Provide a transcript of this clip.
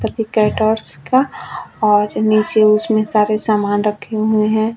Ganpati caterers का और नीचे उसमें सारे सामान रखे हुए है।